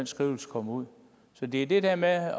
skrivelse kommer ud så det er det der med at